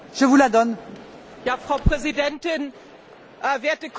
Frau Präsidentin, werte Kolleginnen und Kollegen!